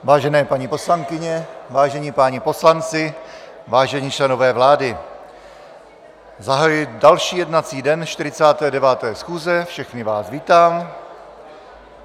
Vážené paní poslankyně, vážení páni poslanci, vážení členové vlády, zahajuji další jednací den 49. schůze, všechny vás vítám.